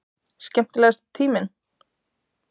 Skemmtilegasti tíminn?